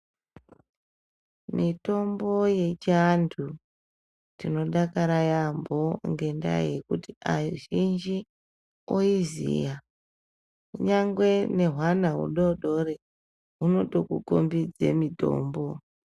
Mitombo yechianhu, tinodakara yaambo ngendaa yekuti azhinji oiziya kunyangwe nehwana hudoodori hunotokukhombidze mitombo.